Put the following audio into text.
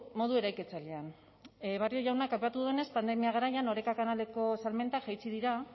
modu eraikitzailean barrio jaunak aipatu duenez pandemia garaian oreka kanaleko salmentak jaitsi dira